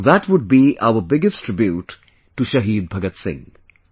That would be our biggest tribute to Shahid Bhagat Singh